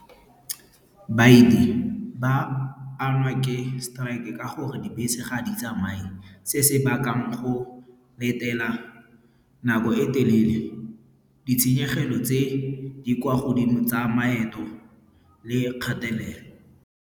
ba ama ke strike-e ka gore dibese ga di tsamaye. Se se bakang go letela nako e telele. Ditshenyegelo tse di kwa godimo tsa maeto le kgatelelo.